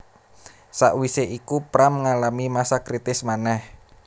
Sakwisé iku Pram ngalami masa kritis manèh